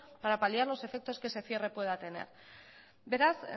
para paliar los efectos que ese cierre pueda tener beraz